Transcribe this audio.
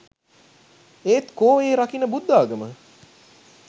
ඒත් කෝ ඒ රකින බුද්ධාගම